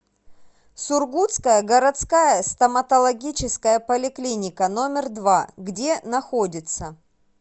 сургутская городская стоматологическая поликлиника номер два где находится